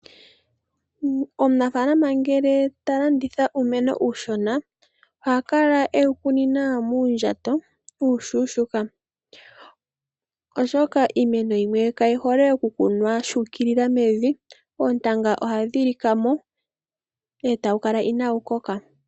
Omunafaalama ngele talanditha uumeno uushona, oha kala ewu kunina muundjato uushona, oshoka iimeno yimwe kayi hole okukunwa tango mevi, oontanga ohadhi lika mo eta wu kala inawu koka.